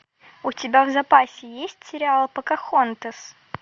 у тебя в запасе есть сериал покахонтас